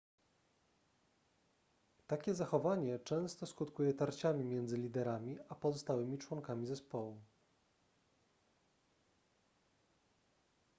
takie zachowanie często skutkuje tarciami między liderami a pozostałymi członkami zespołu